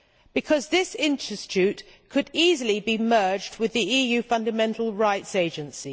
Because this institute could easily be merged with the EU Fundamental Rights Agency.